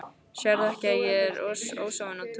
Sérðu ekki að ég er ósofin á túr.